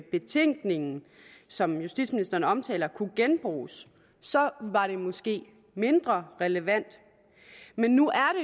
betænkningen som justitsministeren omtaler kunne genbruges var det måske mindre relevant men nu